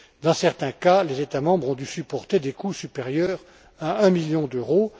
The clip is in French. Dans certains cas, les États membres ont dû supporter des coûts supérieurs à un million d'euros.